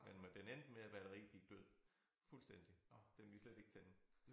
Ja men den endte med at være rigtig død fuldstændig den ville slet ikke tænde